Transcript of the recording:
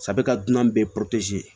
ka dunan bɛɛ